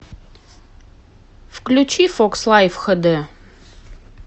включи фокс лайф хд